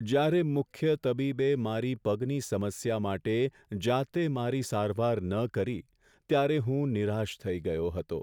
જ્યારે મુખ્ય તબીબે મારી પગની સમસ્યા માટે જાતે મારી સારવાર ન કરી, ત્યારે હું નિરાશ થઈ ગયો હતો.